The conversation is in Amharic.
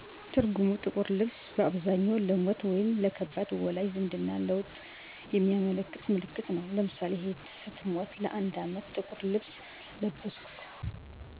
ፀጉር መላጨት ጥቁር መልበስ